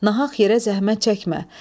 Nahaq yerə zəhmət çəkmə.